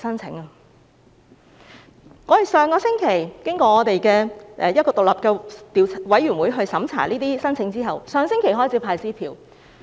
這些申請經過一個獨立委員會審查後，上星期已開始派發支票。